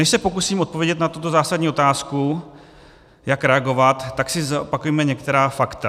Než se pokusím odpovědět na tuto zásadní otázku, jak reagovat, tak si zopakujme některá fakta.